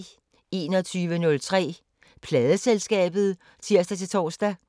21:03: Pladeselskabet (tir-tor)